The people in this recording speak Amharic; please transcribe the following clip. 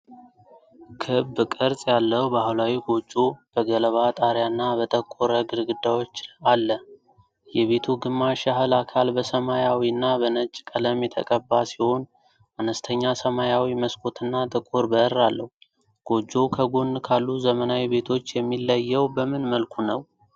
ክብ ቅርጽ ያለው ባህላዊ ጎጆ በገለባ ጣሪያና በጠቆረ ግድግዳዎች አለ። የቤቱ ግማሽ ያህል አካል በሰማያዊና በነጭ ቀለም የተቀባ ሲሆን፣ አነስተኛ ሰማያዊ መስኮትና ጥቁር በር አለው። ጎጆው ከጎን ካሉ ዘመናዊ ቤቶች የሚለየው በምን መልኩ ነው?